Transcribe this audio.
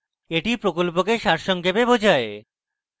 এটি প্রকল্পকে সারসংক্ষেপে বোঝায়